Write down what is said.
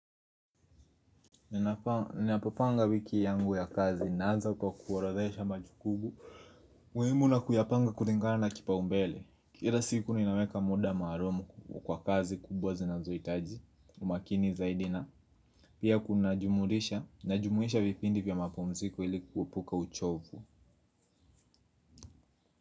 Ninapopanga wiki yangu ya kazi naanza kwa kuorodhesha majukumu. Umuhimu na kuyapanga kulingana na kipaumbele. Kila siku ninaweka muda maalum kwa kazi kubwa zinazohitaji umakini zaidi na pia kuna jumurisha, najumuisha vipindi vya mapumziko ili kuepuka uchovu.